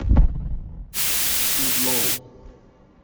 джуд лоу